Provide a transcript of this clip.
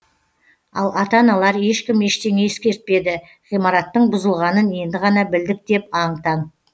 ал ата аналар ешкім ештеңе ескертпеді ғимараттың бұзылғанын енді ғана білдік деп аң таң